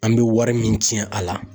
An bɛ wari min ci a la